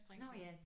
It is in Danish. Nåh ja